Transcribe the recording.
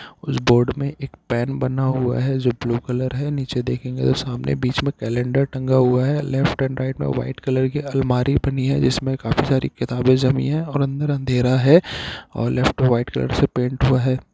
उस बोर्ड मे एक पेन बना हुआ है जो ब्लू कलर है नीचे देखेंगे तो बीच मे कैलेंडर टंगा हुआ है लेफ्ट एंड राईट मे वाइट कलर की अलमारी बनी है जिसे काफी सारी किताबे जमी है और अन्दर अँधेरा है और लेफ्ट और वाइट कलर से पेंट हुआ है।